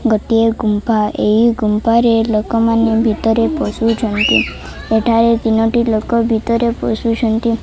ଗୋଟିଏ ଗୁମ୍ଫା ଏଇ ଗୁମ୍ଫା ରେ ଲୋକମାନେ ଭିତରେ ପସୁଛନ୍ତି ଏଠାରେ ତିନୋଟି ଲୋକ ଭିତରେ ପସୁଚନ୍ତି।